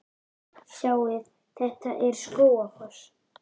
Sjáiði! Þetta er Skógafoss.